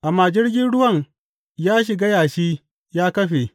Amma jirgin ruwan ya shiga yashi ya kafe.